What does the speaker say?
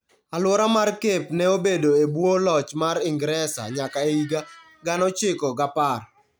Alwora mar Cape ne obedo e bwo loch mar Ingresa nyaka e higa 1910.